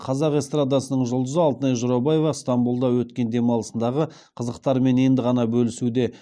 қазақ эстрадасының жұлдызы алтынай жорабаева стамбұлда өткен демалысындағы қызықтарымен енді ғана бөлісуде